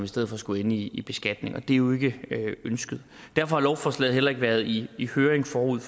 stedet skulle ende i beskatning og det er jo ikke ønskeligt derfor har lovforslaget heller ikke været i i høring forud